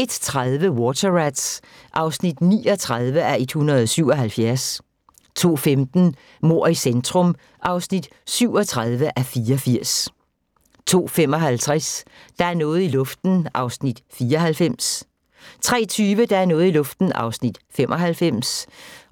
01:30: Water Rats (39:177) 02:15: Mord i centrum (37:84) 02:55: Der er noget i luften (94:320) 03:20: Der er noget i luften (95:320)